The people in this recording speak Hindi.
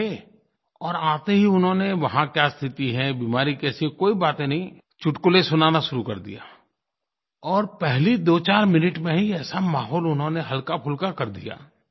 बैठे और आते ही उन्होंने वहाँ क्या स्थिति है बीमारी कैसी है कोई बातें नहीं चुटकुले सुनाना शुरू कर दिया और पहले दोचार मिनट में ही ऐसा माहौल उन्होंने हल्काफुल्का कर दिया